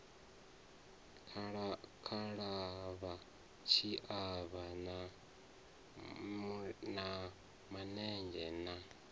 khalavha tshiavha ha manenzhe na